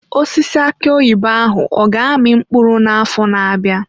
Osisi aki oyibo ahụ ọ ga-amị mkpụrụ n'afọ na-abịa?